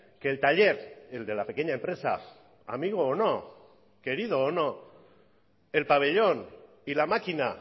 que el taller el de la pequeña empresa amigo o no querido o no el pabellón y la maquina